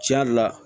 Tiɲɛ yɛrɛ la